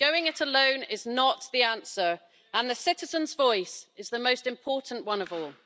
Going it alone is not the answer, and the citizen's voice is the most important one of all.